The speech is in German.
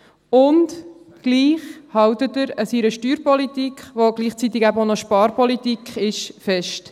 Und doch hält er an seiner Steuerpolitik, die gleichzeitig eben auch noch Sparpolitik ist, fest.